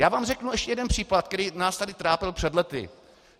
Já vám řeknu ještě jeden případ, který nás tady trápil před lety.